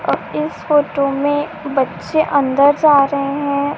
और इस फोटो में बच्चे अंदर जा रहे है।